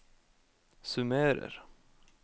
summerer